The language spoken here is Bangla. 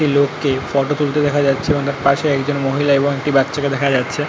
একটি লোক কে ফটো তুলতে দেখা যাচ্ছে এবং তার পাশে একজন মহিলা এবং একটি বাচ্চাকে দেখা যাচ্ছে ।